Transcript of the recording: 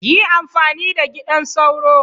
Yi amfani da gidan sauro!